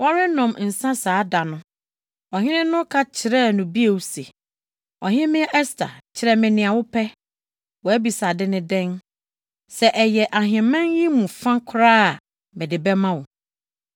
Wɔrenonom nsa saa da no, ɔhene no ka kyerɛɛ no bio se, “Ɔhemmea Ɛster, kyerɛ me nea wopɛ. Wʼabisade ne dɛn? Sɛ ɛyɛ ahemman yi mu fa koraa a, mede bɛma wo!”